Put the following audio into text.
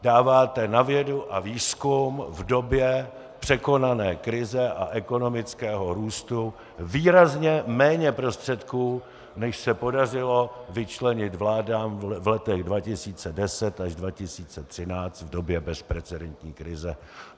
Dáváte na vědu a výzkum v době překonané krize a ekonomického růstu výrazně méně prostředků, než se podařilo vyčlenit vládám v letech 2010 až 2013 v době bezprecedentní krize.